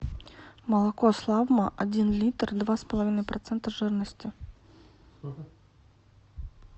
молоко славмо один литр два с половиной процента жирности